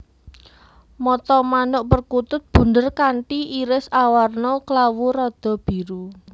Mata manuk perkutut bunder kanthi iris awarna klawu rada biru